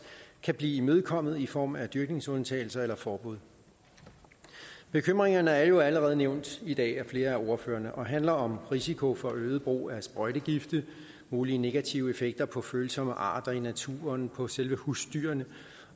kan blive imødekommet i form af dyrkningsundtagelser eller forbud bekymringerne er jo allerede nævnt i dag af flere af ordførerne og handler om risiko for øget brug af sprøjtegifte mulige negative effekter på følsomme arter i naturen på selve husdyrene